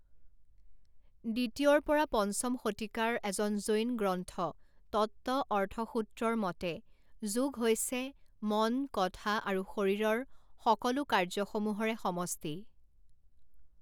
দ্বিতীয়ৰ পৰা পঞ্চম শতিকাৰ এখন জৈন গ্ৰন্থ তত্ত্বঅৰ্থসূত্ৰৰ মতে যোগ হৈছে মন, কথা আৰু শৰীৰৰ সকলো কাৰ্য্যসমূহৰে সমষ্টি।